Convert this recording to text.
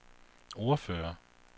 ordfører